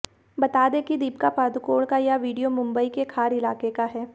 बता दें कि दीपिका पादुकोण का ये वीडियो मुंबई के खार इलाके का है